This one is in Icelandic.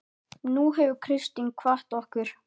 Nú hefur Kristín kvatt okkur.